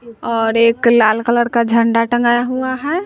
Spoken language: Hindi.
और एक लाल कलर का झंडा टंगाया हुआ है।